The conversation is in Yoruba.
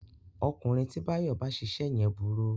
Ọkùnrin tí Báyọ̀ bá ṣiṣẹ́ yẹn burú